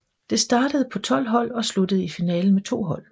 Det startede på 12 hold og sluttede i finalen med 2 hold